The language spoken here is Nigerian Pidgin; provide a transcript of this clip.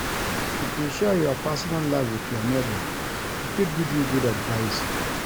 If you share your personal life wit your nebor, e fit give you good advice.